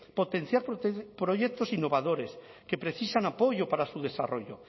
potenciar proyectos innovadores que precisan apoyo para su desarrollo